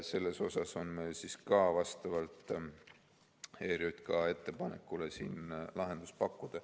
Selle jaoks on meil ka vastavalt ERJK ettepanekule lahendus pakkuda.